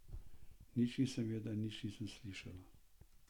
Nič nisem videla in nič nisem slišala.